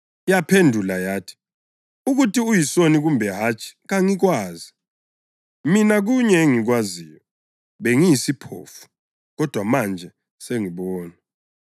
Yaphendula yathi, “Ukuthi uyisoni kumbe hatshi kangikwazi. Mina kunye engikwaziyo. Bengiyisiphofu kodwa manje sengibona!”